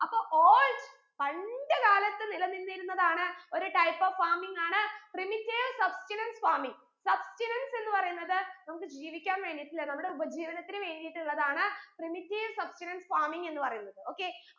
അപ്പൊ old പണ്ട് കാലത്ത് നിലനിന്നിരുന്നതാണ് ഒരു type of farming ആണ് primitive substenance farmingsubstenance എന്ന് പറയുന്നത് നമുക്ക് ജീവിക്കാൻ വേണ്ടീട്ടുള്ള നമ്മുടെ ഉപജീവനത്തിന് വേണ്ടീട്ടുള്ളതാണ് primitive substenance farming എന്ന് പറയുന്നത് okay